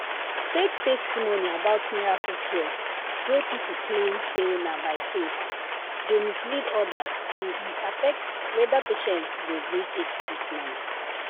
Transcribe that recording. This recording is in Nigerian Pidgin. fake testimony about miracle cure wey people claim say na by faith dey mislead others and e affect whether patient go gree take treatment.